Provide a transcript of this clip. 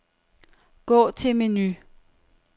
Gå til menu.